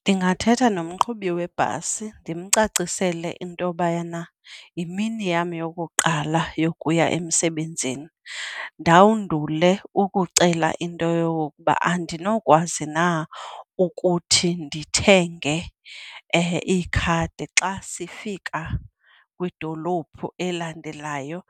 Ndingathetha nomqhubi webhasi ndimcacisele into bayana yimini yam yokuqala yokuya emsebenzini. Ndandule ukucela into yokokuba andinokwazi na ukuthi ndithenge ikhadi xa sifika kwidolophu elandelayo.